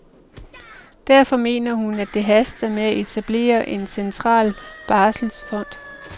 Derfor mener hun, at det haster med at etablere en central barselsfond.